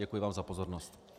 Děkuji vám za pozornost.